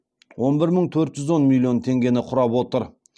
он бір мың төрт жүз он миллион теңгені құрап отыр